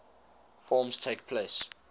forms takes place